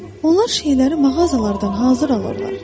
Onlar şeyləri mağazalardan hazır alırlar.